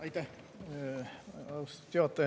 Aitäh, austatud juhataja!